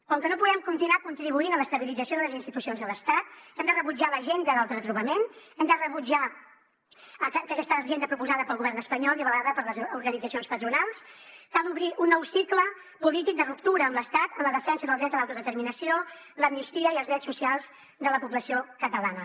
com que no podem continuar contribuint a l’estabilització de les institucions de l’estat hem de rebutjar l’agenda del retrobament hem de rebutjar aquesta agenda proposada pel govern espanyol i avalada per les organitzacions patronals cal obrir un nou cicle polític de ruptura amb l’estat en la defensa del dret a l’autodeterminació l’amnistia i els drets socials de la població catalana